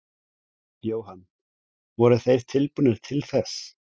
Jóhann: Voru þeir tilbúnir til þess?